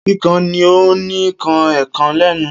Kikan ni o ni kan ekan lenu.